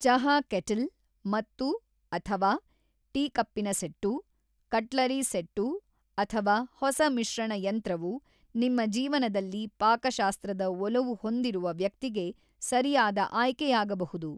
ಚಹಾ ಕೆಟಲ್ ಮತ್ತು/ಅಥವಾ ಟೀಕಪ್ಪಿನ ಸೆಟ್ಟು, ಕಟ್ಲರಿ ಸೆಟ್ಟು ಅಥವಾ ಹೊಸ ಮಿಶ್ರಣ ಯಂತ್ರವು ನಿಮ್ಮ ಜೀವನದಲ್ಲಿ ಪಾಕಶಾಸ್ತ್ರದ ಒಲವು ಹೊಂದಿರುವ ವ್ಯಕ್ತಿಗೆ ಸರಿಯಾದ ಆಯ್ಕೆಯಾಗಬಹುದು.